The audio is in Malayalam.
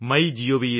my gov